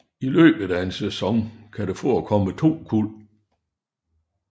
I løbet af en sæson kan der forekomme to kuld